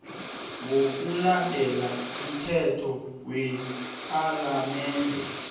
ngokulandela umthetho wepalamende